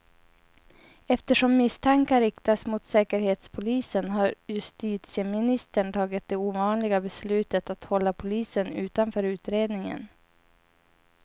Eftersom misstankar riktats mot säkerhetspolisen har justitieministern tagit det ovanliga beslutet att hålla polisen utanför utredningen.